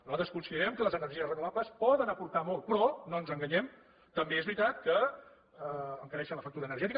nosaltres considerem que les energies renovables poden aportar molt però no ens enganyem també és veritat que encareixen la factura energètica